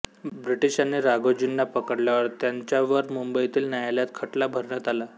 ब्रिटिशांनी राघोजींना पकडल्यावर त्यानंच्यावर मुबंईतील न्यायालयात खटला भरण्यात आला